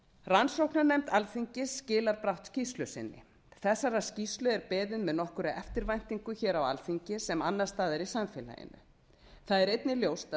rannsóknarnefnd alþingis skilar brátt skýrslu sinni þessarar skýrslu er beðið með nokkurri eftirvæntingu á alþingi sem annars staðar í samfélaginu það er einnig ljóst að